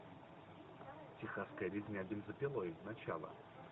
техасская резня бензопилой начало